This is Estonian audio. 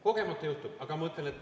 Kogemata juhtub?